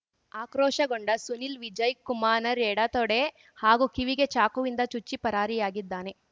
ಆಕ್ರೋಶಗೊಂಡ ಸುನಿಲ್ ವಿಜಯ್ ಕುಮಾನರ್‌ ಎಡತೊಡೆ ಹಾಗೂ ಕಿವಿಗೆ ಚಾಕುವಿಂದ ಚುಚ್ಚಿ ಪರಾರಿಯಾಗಿದ್ದಾನೆ